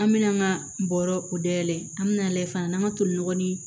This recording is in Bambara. An mɛna an ka bɔrɔ o dayɛlɛ an mi na lajɛ fana n'an ka tolinɔgɔ ni